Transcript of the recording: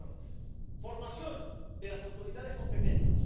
Primero, formación de las autoridades competentes.